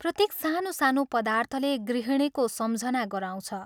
प्रत्येक सानोसानो पदार्थले गृहिणीको सम्झना गराउँछ।